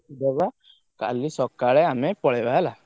ଦବା କାଲି ସକାଳେ ଆମେ ପଳେଇବା ହେଲା?